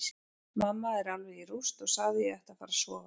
Mamma er alveg í rúst og sagði að ég ætti að fara að sofa.